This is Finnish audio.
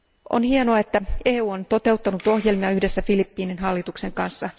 On hienoa, että EU on toteuttanut ohjelmia yhdessä Filippiinien hallituksen kanssa.